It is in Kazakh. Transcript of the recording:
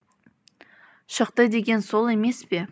шықты деген сол емес пе